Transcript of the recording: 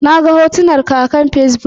Naga hotunan ka akan Fesbuk